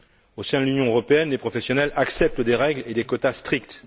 Au sein de l'Union européenne, les professionnels acceptent des règles et des quotas stricts.